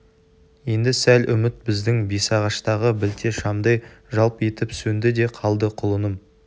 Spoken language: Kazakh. енді сал үміт біздің бесағаштағы білте шамдай жалп етіп сөнді де қалды құлыным